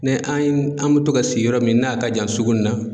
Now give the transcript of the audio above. Ni an ye, an bɛ to ka sigi yɔrɔ min n'a ka jan sugu in na.